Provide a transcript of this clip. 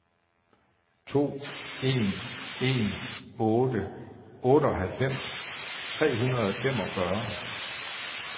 to en en otte otteoghalvfems tre hundrede og femogfyrre